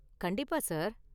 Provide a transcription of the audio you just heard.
கண்டிப்பா சார்.